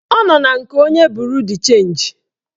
Ọ nọ na nke onye buru d chenji